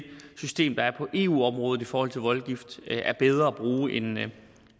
system der er på eu området i forhold til voldgift er bedre at bruge end mli